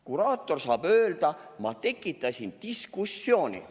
Kuraator saab öelda: "Ma tekitasin diskussiooni.